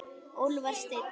Úlfar Steinn.